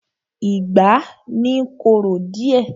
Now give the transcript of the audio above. Ìgbá ni I korò díẹ̀.